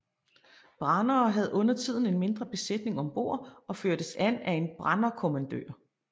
Brandere havde undertiden en mindre besætning om bord og førtes af en branderkommandør